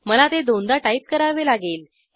मला ते दोनदा टाईप करावे लागेल